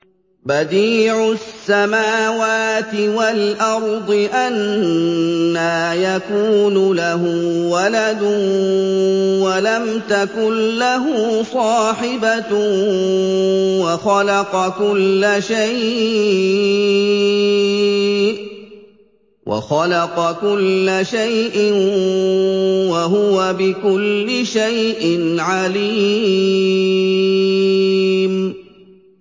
بَدِيعُ السَّمَاوَاتِ وَالْأَرْضِ ۖ أَنَّىٰ يَكُونُ لَهُ وَلَدٌ وَلَمْ تَكُن لَّهُ صَاحِبَةٌ ۖ وَخَلَقَ كُلَّ شَيْءٍ ۖ وَهُوَ بِكُلِّ شَيْءٍ عَلِيمٌ